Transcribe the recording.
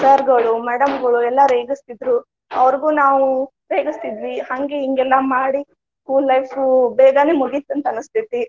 sir ಗಳು madam ಗಳು ಎಲ್ಲಾ ರೇಗಸ್ತಿದ್ರು, ಅವ್ರಿಗು ನಾವು ರೇಗಸ್ತಿದ್ವಿ. ಹಂಗ ಹಿಂಗ ಎಲ್ಲಾ ಮಾಡಿ school life ಬೇಗಾನೆ ಮುಗಿತಂತ ಅನಸ್ತೇತಿ.